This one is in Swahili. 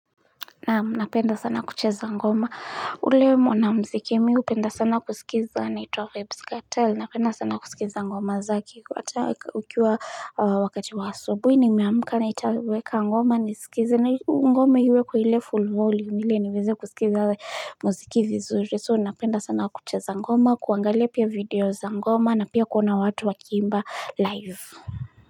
Na napenda sana kucheza ngoma ule mwanamziki mi upenda sana kusikiza anaitwa Vibs Katel napenda sana kusikiza ngoma zake wata ukiwa wakati wa asubuhi nimeamka nitaweka ngoma nisikize na ngoma iwekwe ile full volume ile niweze kusikiza mziki vizuri so napenda sana kucheza ngoma kuangalia pia video za ngoma na pia kuona watu wakiimba live.